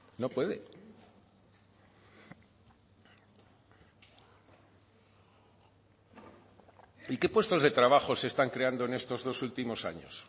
no puede y qué puestos de trabajo se están creando en estos dos últimos años